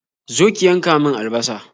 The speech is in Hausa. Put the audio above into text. Zo ki yanka min albasa!